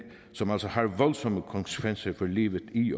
som altså har voldsomme konsekvenser for livet i